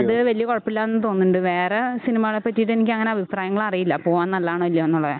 അത് വലിയ കുഴപ്പമില്ല എന്ന് തോന്ന്ണ്ട് വേറെ സിനിമകളെ പറ്റിട്ടെനിക്ക് അങ്ങനെ അഭിപ്രായങ്ങളറിയില്ല പോകാൻ നല്ലതാണോ ഇല്ലയോ എന്നുള്ളതേ